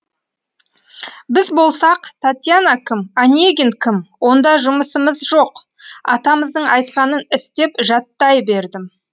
біз болсақ татьяна кім онегин кім онда жұмысымыз жоқ атамыздың айтқанын істеп жаттай бердім